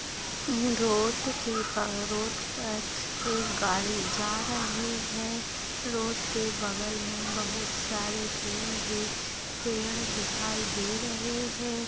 Road के road पर एक गाडी जा रही है रोड के बगल में बहुत सारे पेड़ हे पेड़ दिखाई दे रहे है।